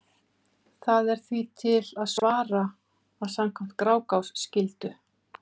Þá er því til að svara að samkvæmt Grágás skyldu